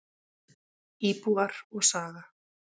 Íbúar og saga.